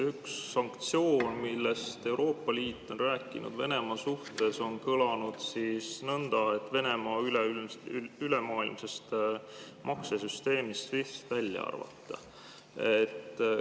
Üks sanktsioon Venemaa suhtes, millest Euroopa Liit on rääkinud, on kõlanud nõnda, et Venemaa tuleb ülemaailmsest maksesüsteemist SWIFT välja arvata.